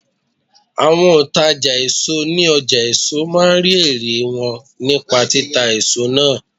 Àwọn òǹtàjà èso ní ọjà èso máa ń rí ẹ̀rẹ̀ wọn nípa títa èso náà.